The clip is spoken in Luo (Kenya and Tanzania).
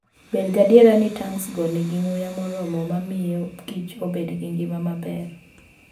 Bed gadier ni tanksgo nigi muya moromo mar miyo kich obed gi ngima maber.